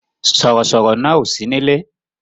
Sọ̀rọ̀ sọ̀rọ̀ náà ò sí nílé